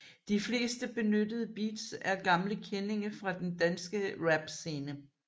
De fleste benyttede beats er gamle kendinge fra den danske rap scene